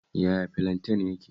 Yaya filanten yake?